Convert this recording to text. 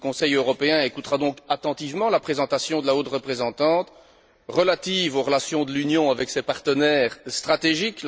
Le Conseil européen écoutera donc attentivement la présentation de la haute représentante relative aux relations de l'Union avec ses partenaires stratégiques.